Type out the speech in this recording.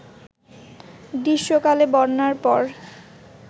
গ্রীষ্মকালে বন্যার পর